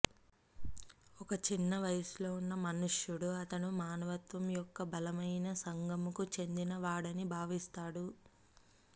ఒక చిన్న వయస్సులో ఉన్న మనుష్యుడు అతను మానవత్వం యొక్క బలమైన సగంకు చెందినవాడని భావిస్తాడు